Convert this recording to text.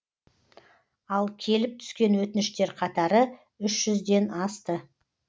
ал келіп түскен өтініштер қатары үш жүзден асты